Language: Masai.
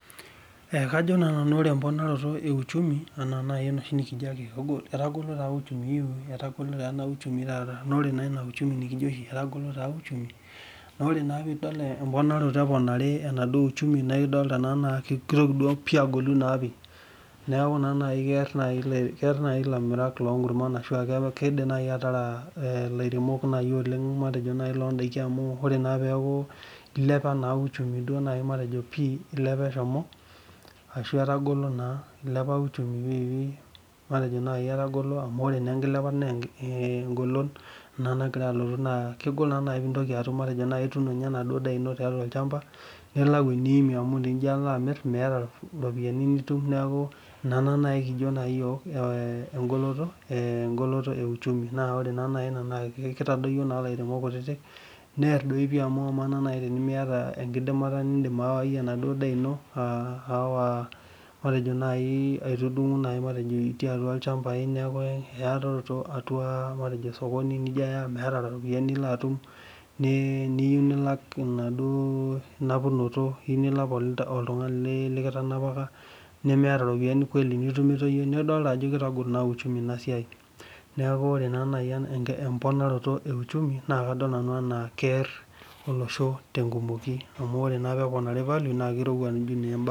Ee kajo na nanu ore emponaro euchumi ena oshi nikijo etagolo taa uchumi na ore pidil emponaroto eponari enauchumi naidol ajo keponari kear nai lairemok matejo londakin amu ore peaku ilepa uchumi pii ashu etagolo na kegol nai pintoki atum ituuno nai enaduo daa ino amu ore pijo alo amir miata enaduo daa ino na nai kijo yiok emgoloto euchumi amu kitadoyio lairemok kutik near dii pii amu amaa nai tenimiata enkidimata nindim atimire endaa ino aitudungu itiibatua olchamba nijo aya meeta ropiyani nilo atum niyieu nilak emaduo napunoto nimiata ropiyani nidol ajo kitagol uchumi enasiai neaku ore emponata euchumi na kear ilaremok amu ore na peponari value na kear